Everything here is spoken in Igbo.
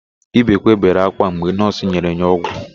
Ibekwe bere ákwá mgbe nọọsụ nyere ya ọgwụ.